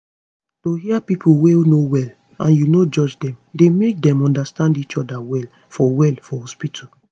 to hear pipo wey no well and u no judge dem dey make dem understand each oda well for well for hospitu